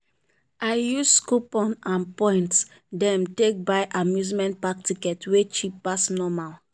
i use coupon and point dem take buy amusement park ticket wey cheap pass normal.